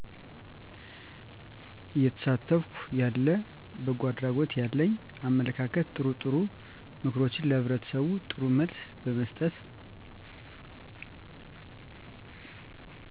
እየተሳተፍኩ ያለ በጎ አድራጎት ያለኝ አመለካከትጥሩጥሩ ምክሮችንለህብረተሰቡ ጥሩ መልስ በመስጠት